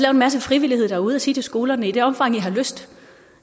en masse frivillighed derude og sige til skolerne i det omfang i har lyst